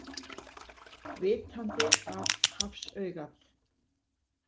Vitandi að hafsaugað.